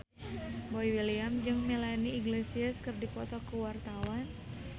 Boy William jeung Melanie Iglesias keur dipoto ku wartawan